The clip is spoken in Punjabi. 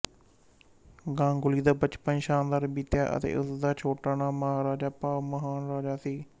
ਗਾਂਗੁਲੀ ਦਾ ਬਚਪਨ ਸ਼ਾਨਦਰ ਬੀਤਿਆ ਅਤੇ ਉਸ ਦਾ ਛੋਟਾ ਨਾਂ ਮਹਾਰਾਜਾ ਭਾਵ ਮਹਾਨ ਰਾਜਾ ਸੀ